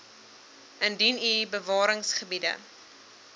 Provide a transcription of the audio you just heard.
indien u bewaringsgebiede